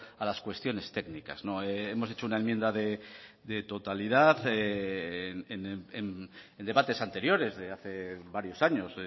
a las cuestiones técnicas hemos hecho una enmienda de totalidad en debates anteriores de hace varios años